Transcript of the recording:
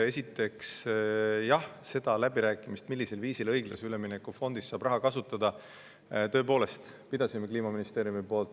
Esiteks, jah, neid läbirääkimisi, millisel viisil õiglase ülemineku fondist saab raha kasutada, tõepoolest Kliimaministeerium pidas.